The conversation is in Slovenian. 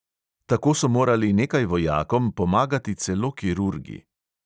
Tako so morali nekaj vojakom pomagati celo kirurgi.